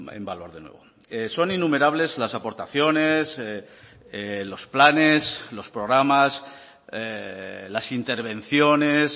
en valor de nuevo son innumerables las aportaciones los planes los programas las intervenciones